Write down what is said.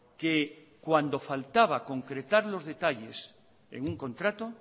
que cuando faltaba concretar los detalles en un contrato